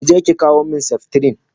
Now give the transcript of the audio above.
Kije ki kawo min seftrin!